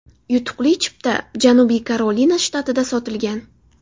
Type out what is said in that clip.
Yutuqli chipta Janubiy Karolina shtatida sotilgan.